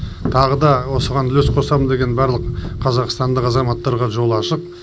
тағы да осыған үлес қосамын деген барлық қазақстандық азаматтарға жол ашық